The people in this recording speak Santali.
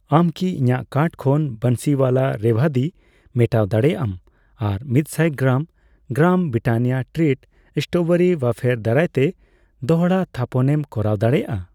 ᱟᱢ ᱠᱤ ᱤᱧᱟᱜ ᱠᱟᱨᱴ ᱠᱷᱚᱱ ᱵᱟᱱᱥᱤᱣᱟᱞᱟ ᱨᱮᱵᱷᱫᱤ ᱢᱮᱴᱟᱣ ᱫᱟᱲᱮᱭᱟᱜ ᱟᱢ ᱟᱨ ᱢᱤᱛᱥᱟᱭ gram , gram Britannia treat strawberry wafer ᱫᱟᱨᱟᱭᱛᱮ ᱫᱚᱲᱦᱟ ᱛᱷᱟᱯᱚᱱᱮᱢ ᱠᱚᱨᱟᱣ ᱫᱟᱲᱮᱭᱟᱜᱼᱟ ᱾